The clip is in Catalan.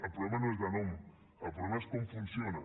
el problema no és de nom el problema és com funciona